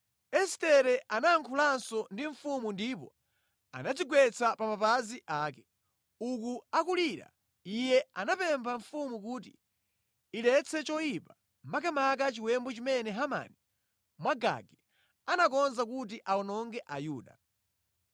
Estere anayankhulanso ndi mfumu ndipo anadzigwetsa pa mapazi ake. Uku akulira iye anapempha mfumu kuti iletse choyipa, makamaka chiwembu chimene Hamani Mwagagi anakonza kuti awononge a Yuda.